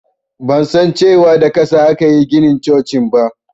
Ban san cewa da ƙasa akayi ginin cocin ba